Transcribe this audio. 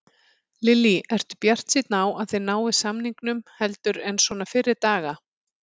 Lillý: Ertu bjartsýnn á að þið náið samningum heldur en svona fyrri daga?